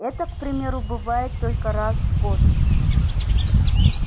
эта к примеру бывает только раз в год